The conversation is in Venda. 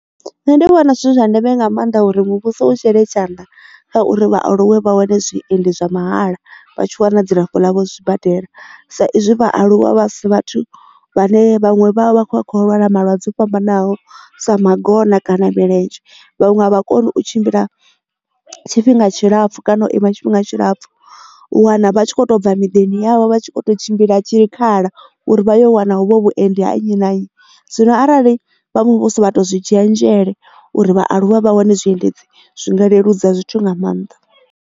Nṋe ndi vhona zwi zwa ndeme nga maanḓa uri muvhuso u shele tshanḓa kha uri vhaaluwe vha wane zwiendi zwa mahala vha tshi wana dzilafho ḽavho zwibadela sa izwi vhaaluwa vha sa vhathu vhane vhaṅwe vha vha vha khou a kho lwala malwadze o fhambananaho sa magona kana milenzhe vhaṅwe a vha koni u tshimbila tshifhinga tshilapfu kana u ima tshifhinga tshilapfhu u wana vha tshi kho to bva miḓini yavho vha tshi kho tshimbila tshikhala uri vhayo wana hu vho vhuendi ha nnyi na nnyi zwino arali vha muvhuso vha to zwi dzhiela nzhele uri vhaaluwe vha wane zwiendedzi zwinga leludza zwithu nga maanḓa.